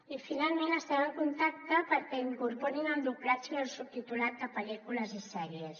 i finalment hi estem en contacte perquè incorporin el doblatge i el subtitulat de pel·lícules i sèries